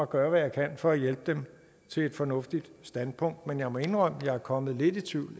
gøre hvad jeg kan for at hjælpe dem til et fornuftigt standpunkt men jeg må indrømme at jeg er kommet lidt i tvivl